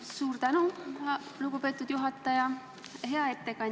Suur tänu, lugupeetud juhataja!